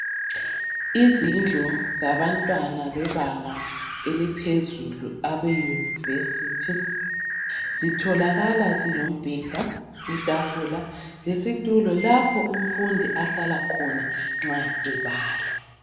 Izindlu zabantwana bebanga eliphezulu abeyunivesithi, zitholakala zilombeda, itafula, lesitulo, lapho umfundi ahlala khona nxa ebala.